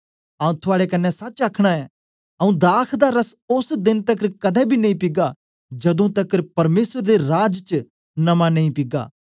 आऊँ थुआड़े कन्ने सच आखना ऐं आऊँ दाख दा रस ओस देन तकर कदें बी नेई पीगा जदू तकर परमेसर दे राज च नमां नेई पीगा